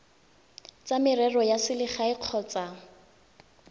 tsa merero ya selegae kgotsa